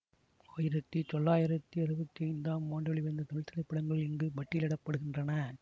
ஆயிரத்தி தொளாயிரத்தி அறுபத்தி ஐந்து ஆம் ஆண்டு வெளிவந்த தமிழ் திரைப்படங்கள் இங்கு பட்டியலிட படுகின்றன